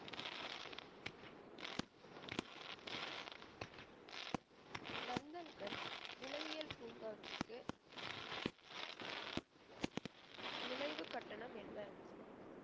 நந்தன்கண் விலங்கியல் பூங்காவிற்கு நுழைவு கட்டணம் என்ன